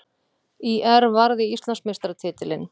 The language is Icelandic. ÍR varði Íslandsmeistaratitilinn